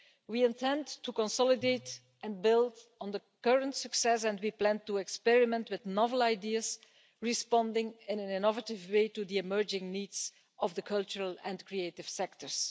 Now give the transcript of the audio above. We intend to consolidate and build on the current success and we plan to experiment with novel ideas, responding in an innovative way to the emerging needs of the cultural and creative sectors.